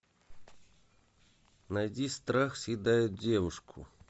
найди страх съедает девушку